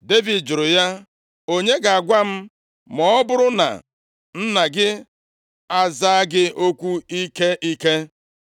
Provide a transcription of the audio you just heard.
Devid jụrụ ya, “Onye ga-agwa m ma ọ bụrụ na nna gị aza gị okwu ike ike?”